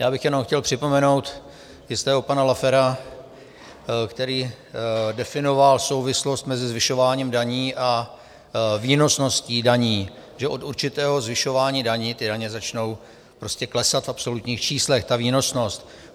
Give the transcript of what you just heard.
Já bych jenom chtěl připomenout jistého pana Laffera, který definoval souvislost mezi zvyšováním daní a výnosností daní, že od určitého zvyšování daní ty daně začnou prostě klesat v absolutních číslech, ta výnosnost.